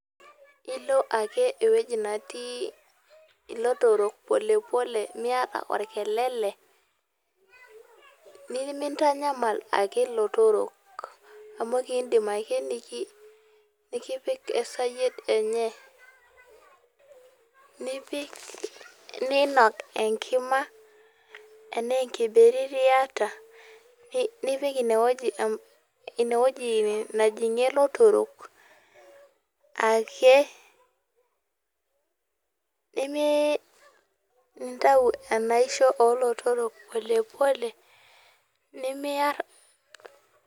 Ilo ake ewuei natii ilotorrok pole pole miata orkelele nimintanyamal ake ilotorok amu kiindim ake nikipik esayiet enye, niinok enkima enaa enkibiriti iata nipik inewueji najing'ie ilotorok ake nintau enaisho oolotorrok pole pole nemiarr.